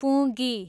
पुँगी